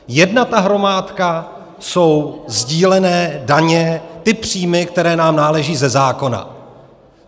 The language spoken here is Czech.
Jedna ta hromádka jsou sdílené daně, ty příjmy, které nám náleží ze zákona.